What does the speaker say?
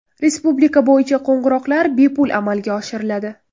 Respublika bo‘yicha qo‘ng‘iroqlar bepul amalga oshiriladi.